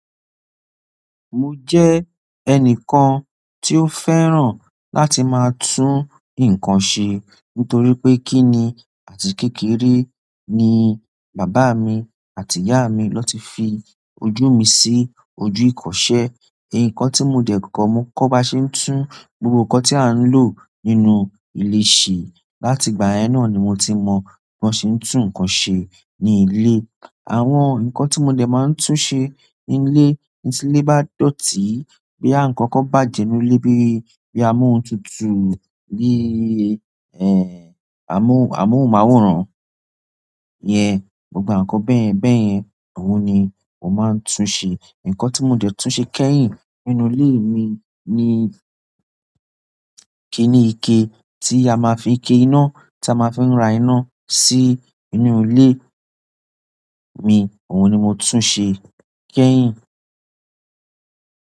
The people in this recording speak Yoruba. Mo je enikan ti o fẹ́ràn láti ma tun ikan se nítorí pé kíni àti kékeré ni bàbá mi àti ìyá mi ló ti fi ojú mi sí ojú ìkọṣẹ́. Ikan tí mo dẹ̀ kọ́, mo kọ́ ba ṣe tún gbogbo nǹkan tí a ń lò nínú ilé ṣe. Láti ìgbà yen na ni mo ti mo bi won se tun nkan se ni ile. Àwọn nǹkan tí mo dẹ̀ máa tún ṣe ní ilé tí ilé bá dọ̀tí boyaa nkankan bájẹ nínú ilé bí bí a mú ohun tuntun, bí í, ẹ, à mú à mú àwòrán yẹn, gbogbo àǹkọ́ bẹ́ẹ̀ bẹ́ẹ̀ yẹn, òun ni mo máa tún ṣe. Nǹkan tí mo jẹ̀ tún ṣe kẹ́yìn nínú ilé mi ni kíni ike tí a máa fi ike iná tí a máa fi rá iná sí inú ilé mi, òun ni mo tún ṣe kẹ́yìn.